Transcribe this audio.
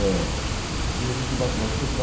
E ele não se batizo